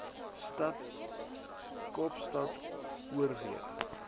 stad kaapstad oorweeg